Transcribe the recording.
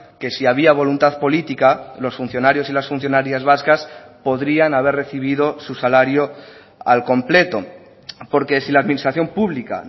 que si había voluntad política los funcionarios y las funcionarias vascas podrían haber recibido su salario al completo porque si la administración pública